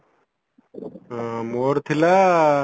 ଆଁ ମୋର ଥିଲା